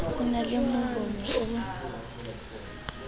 o na le mohono o